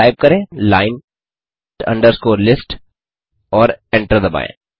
अतः टाइप करें line underscore list और एंटर दबाएँ